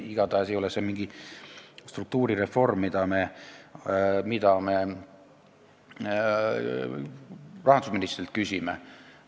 Igatahes ei ole see mingi struktuurireform, mille kohta me rahandusministrilt küsisime.